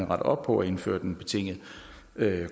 op på og indført en betinget